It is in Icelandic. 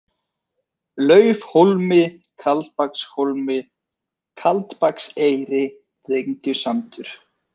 Laufhólmi, Kaldbakshólmi, Kaldbakseyri, Dyngjusandur